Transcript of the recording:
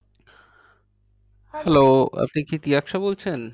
Hello আপনি কি তৃয়াক্সা বলছেন?